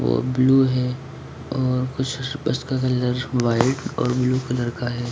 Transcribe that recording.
वो ब्लू है और कुछ बस का कलर व्हाइट और ब्लू कलर का है।